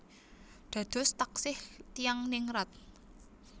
Dados taksih tiyang ningrat